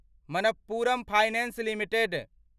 Manappuram finance limited